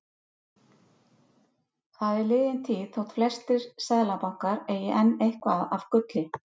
Það er liðin tíð þótt flestir seðlabankar eigi enn eitthvað af gulli.